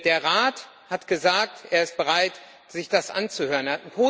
Der Rat hat gesagt, er sei bereit, sich das anzuhören.